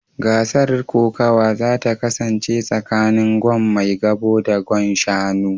Gasar kokawa za ta kasance tsakanin Gwan maigabo da Gwan Shanu